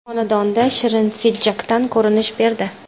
Xonanda Shirin Sijjakdan ko‘rinish berdi.